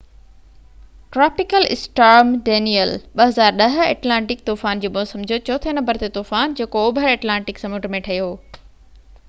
tropical storm Danielle 2010 Atlantic طوفان جي موسم جو چوٿين نمبر تي طوفان جيڪو اوڀر ايٽلانٽڪ سمنڊ ۾ ٺهيو